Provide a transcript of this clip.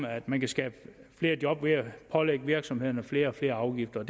at man kan skabe flere job ved at pålægge virksomhederne flere og flere afgifter